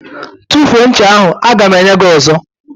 Tufuo ncha ahụ! A ga m enye gị ọzọ.